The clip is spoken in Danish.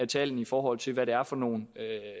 tallene i forhold til hvad det er for nogle